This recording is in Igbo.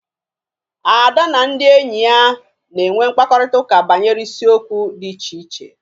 Ada na ndị enyi ya na-enwe mkparịtaụka banyere isiokwu dị iche iche